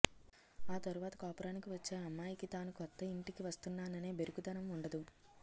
ఆ తరువాత కాపురానికి వచ్చే అమ్మాయికి తాను కొత్త ఇంటికి వస్తున్నాననే బెరుకుదనం వుండదు